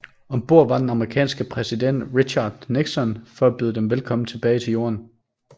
Om bord var den amerikanske præsident Richard Nixon for at byde dem velkommen tilbage til Jorden